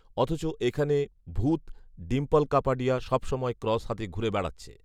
অথচ এখানে ভূত ডিম্পল কাপাডিয়া সব সময় ক্রস হাতে ঘুরে বেড়াচ্ছে